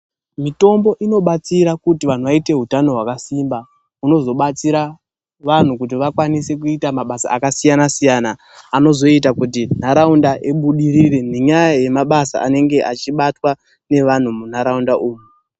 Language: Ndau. Mitombo unobatsira kuti vanhu vaite utano hwakasimba, unozobatsira vanhu kuti vakwanise kuita mabasa akasiyana-siyana. Anozoita kuti ndaraunda ibudirire nenyaya yemabasa anenge achibatwa nevanhu munharaunda umu.